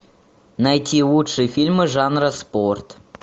найти лучшие фильмы жанра спорт